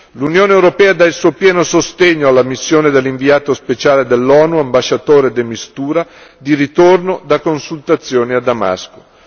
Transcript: L'Unione europea dà il suo pieno sostegno alla missione dell'inviato speciale dell'ONU, ambasciatore de Mistura, di ritorno da consultazioni a Damasco.